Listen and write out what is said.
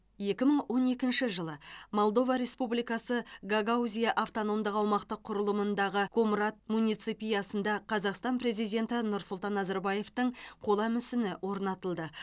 екі мың он екінші жылы молдова республикасы гагаузия автономдық аумақтық құрылымындағы комрат муниципиясында қазақстан президенті нұрсұлтан назарбаевтың қола мүсіні орнатылды